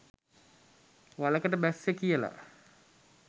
වලකට බැස්සේ කියලා